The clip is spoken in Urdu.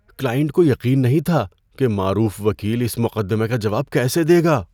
کلائنٹ کو یقین نہیں تھا کہ معروف وکیل اِس مقدمے کا جواب کیسے دے گا۔